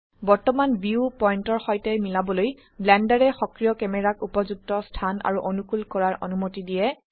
বৰ্তমান ভিউ পয়েন্টৰ সৈতে মিলাবলৈ ব্লেন্ডাৰে সক্ৰিয় ক্যামেৰাক উপযুক্ত স্থান আৰু অনুকুল কৰাৰ অনুমতি দিয়ে